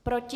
Proti?